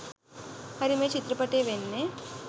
හරි මේ චිත්‍රපටයේ වෙන්නේ